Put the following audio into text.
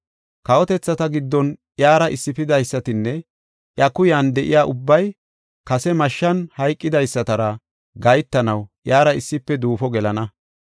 Kawotethata giddon iyara issifidaysatinne iya kuyan de7iya ubbay kase mashshan hayqidaysatara gahetanaw iyara issife duufo gelana.